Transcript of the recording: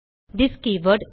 this keyword